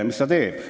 Mis ta teeb?